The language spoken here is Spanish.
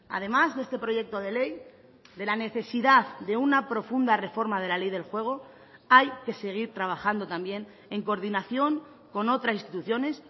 además de este proyecto de ley de la necesidad de una profunda reforma de la ley del juego hay que seguir trabajando también en coordinación con otras instituciones